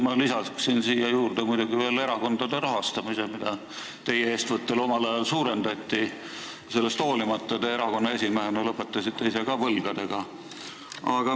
Ma lisaksin sellesse loetellu veel erakondade rahastamise, mida teie eestvõttel omal ajal suurendati, aga sellest hoolimata te erakonna esimehena lõpetasite võlgadega.